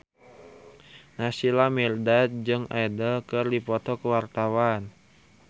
Naysila Mirdad jeung Adele keur dipoto ku wartawan